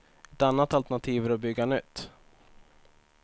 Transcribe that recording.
Ett annat alternativ är att bygga nytt.